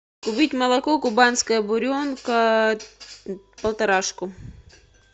купить молоко кубанская буренка полторашку